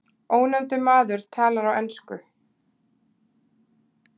Ónefndur maður talar á ensku.